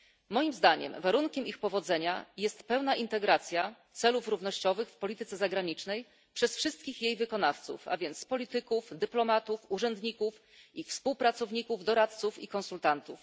Moim zdaniem warunkiem ich powodzenia jest pełna integracja celów równościowych w polityce zagranicznej przez wszystkich jej wykonawców, a więc polityków, dyplomatów, urzędników, ich współpracowników, doradców i konsultantów.